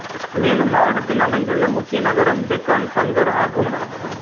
மேலும் மாவட்டத்தில் அமைந்துள்ள முக்கிய நகரம் பெக்கான் பங்கர் ஆகும்